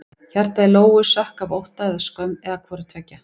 Hjartað í Lóu sökk af ótta eða skömm eða hvoru tveggja.